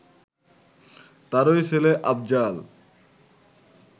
তাঁরই ছেলে আফজাল